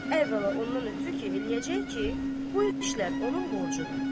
Əvvəla ondan ötrü ki, eləyəcək ki, bu işlər onun borcudur.